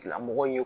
Tigilamɔgɔ in ye